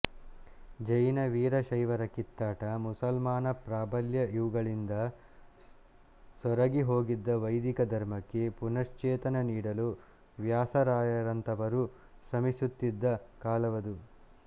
ಜೈನ ವೀರಶೈವರ ಕಿತ್ತಾಟ ಮುಸಲ್ಮಾನ ಪ್ರಾಬಲ್ಯ ಇವುಗಳಿಂದ ಸೊರಗಿ ಹೋಗಿದ್ದ ವೈದಿಕ ಧರ್ಮಕ್ಕೆ ಪುನಶ್ಚೇತನ ನೀಡಲು ವ್ಯಾಸರಾಯರಂಥವರು ಶ್ರಮಿಸುತ್ತಿದ್ದ ಕಾಲವದು